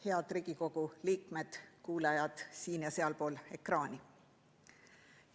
Head Riigikogu liikmed, kuulajad siin‑ ja sealpool ekraani!